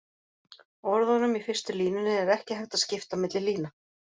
Orðunum í fyrstu línunni er ekki hægt að skipta milli lína.